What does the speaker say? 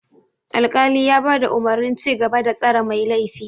Alkali ya bada umurnin cigaba da tsare mai laifi.